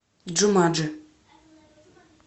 джуманджи